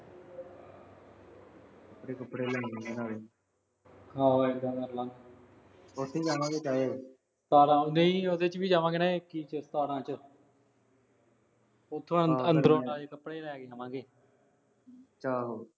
ਕੱਪੜੇ ਕੁਪੜੇ ਲੈ ਲਾ ਗੇ ਨਾਲੇ। ਆਹੋ ਏਦਾ ਕਰ ਲਾਂਗੇ। ਉਥੇ ਜਾਵਾਂਗੇ ਨਾਲੇ। ਉਹਦੇ ਚ ਵੀ ਜਾਵਾਂਗੇ ਨਾ ਹੀ ਆ ਉਹੋ ਇੱਕੀ ਚ, ਸਤਾਰਾਂ ਚ। ਉੱਥੇ ਅਦਰੋ ਨਾਲੇ ਕੱਪੜੇ ਲੈ ਕੇ ਆਵਾਂਗੇ। ਚਲ।